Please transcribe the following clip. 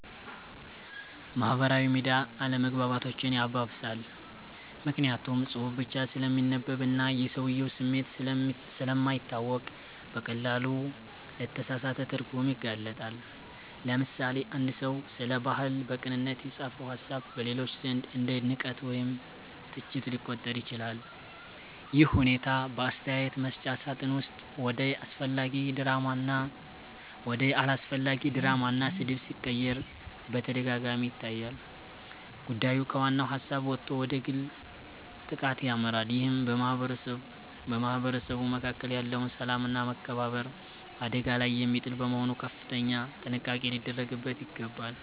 ማህበራዊ ሚዲያ አለመግባባቶችን ያባብሳል። ምክንያቱም ጽሁፍ ብቻ ስለሚነበብና የሰውየው ስሜት ስለማይታወቅ በቀላሉ ለተሳሳተ ትርጉም ይጋለጣል። ለምሳሌ፣ አንድ ሰው ስለ ባህል በቅንነት የጻፈው ሃሳብ በሌሎች ዘንድ እንደ ንቀት ወይም ትችት ሊቆጠር ይችላል። ይህ ሁኔታ በአስተያየት መስጫ ሳጥን ውስጥ ወደ አላስፈላጊ ድራማና ስድብ ሲቀየር በተደጋጋሚ ይታያል። ጉዳዩ ከዋናው ሃሳብ ወጥቶ ወደ ግል ጥቃት ያመራል ይህም በማህበረሰቡ መካከል ያለውን ሰላምና መከባበር አደጋ ላይ የሚጥል በመሆኑ ከፍተኛ ጥንቃቄ ሊደረግበት ይገባል።